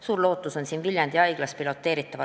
Suur lootus on siin Viljandi Haigla projektil.